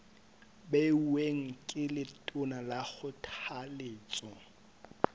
beuweng ke letona ka kgothaletso